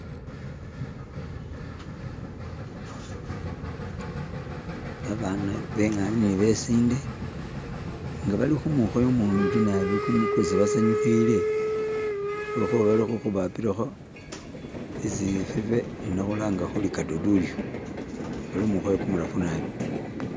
Babana bengana ne besinde nga bali kumwikhoyo mungi naabi kwesi basanyukhile lwekhuba bali khubapilakho isivibe ino khulanga khuri kadodi uyu, bali khumwikhoyo kumurafu naabi.